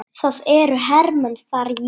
Það eru hermenn þar, jú.